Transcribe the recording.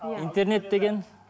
интернет деген